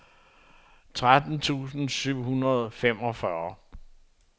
tretten tusind syv hundrede og femogfyrre